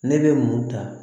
Ne bɛ mun ta